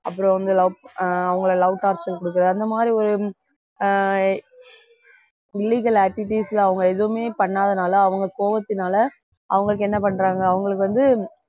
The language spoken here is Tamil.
அப்புறம் வந்து love அவங்களை love torture கொடுக்கிறது அந்த மாதிரி ஒரு ஆஹ் illegal activities ல அவங்க எதுவுமே பண்ணாதனால அவங்க கோபத்தினால அவங்களுக்கு என்ன பண்றாங்க அவங்களுக்கு வந்து